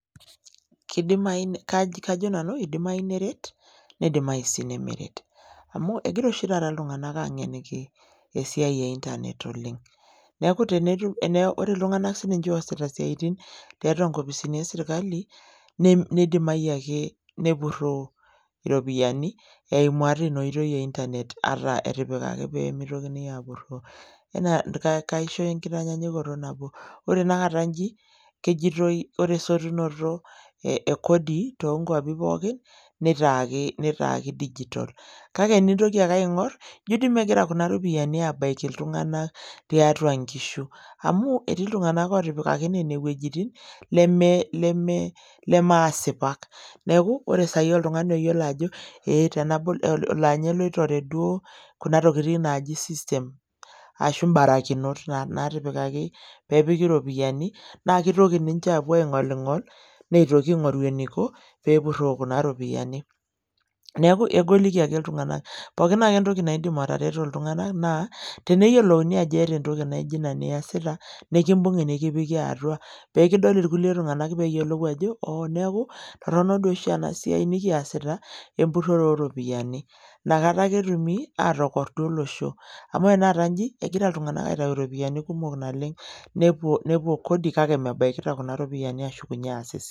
Kidimayu kajo nanu idimayu niret nidimayu sii nimiret. Amu ekira oshi taata iltunganak aangeniki esiai e internet oleng'. Neeku tenitum teneeku wore iltunganak sininche oosita isiatin tiatua inkopisini esirkali, nedimayu ake nepurroo iropiyani eimu ata inia oitoi e internet ata etipikaki pee meitokini aapuroo. Kaisho enkitanyanyukoto nabo, wore tenakata inji, kejoitoi wore esotunoto ekodi toonkuapin pookin, nitaaki digitol. Kake enintoki ake aingorr, ijo dii mekira kuna ropiyiani aabaiki iltunganak tiatua inkishu. Amu etii iltunganak ootipikaki nene wuejitin, neme lemeasipak, neeku, wore sai oltungani oyiolo ajo we tenabol, laa ninye oitore duo kuna tokitin naaji system, ashu imbarakinot naatipikaki pee epiki iropiyani. Naa kitoki ninche aapuo aingolingol, aitoki aingorru eniko pee epuroo kuna ropiyiani. Neeku egoliki ake iltunganak. Pookin ake entoki naidim atereto iltunganak, naa teneyiou ajo iata entoki naijo inia niasita, nikimbungi nikipiki atua. Pee edol irkulie tunganak peeyiolou ajo, oo neeku torono dii oshi ena siai nikiasita, emburrore ooropiyiani. Inakata ake etumi aatokordu olosho. Amu wore tenakata inji ekira iltunganak aitayu iropiyani kumok naleng. Nepuo Kodi kake mebakita kuna ropiyiani ashu